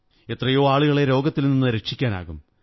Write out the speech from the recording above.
എത്രയോ ആളുകളെ രോഗത്തിൽ നിന്നു രക്ഷിക്കാനാകും